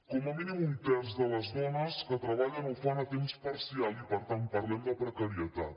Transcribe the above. com a mínim un terç de les do·nes que treballen ho fan a temps parcial i per tant parlem de precarietat